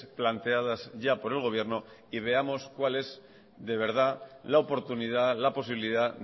planteadas ya por el gobierno y veamos cuál es de verdad la oportunidad la posibilidad